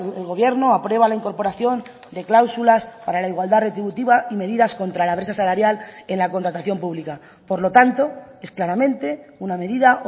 el gobierno aprueba la incorporación de cláusulas para la igualdad retributiva y medidas contra la brecha salarial en la contratación pública por lo tanto es claramente una medida